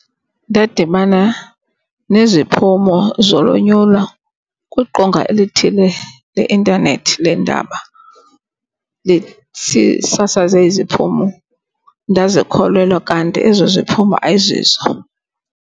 Ndadibana neziphumo zolonyulo kwiqonga elithile le intanethi leendaba lisasaze iziphumo. Ndazikholelwa kanti ezo ziphumo ayizizo.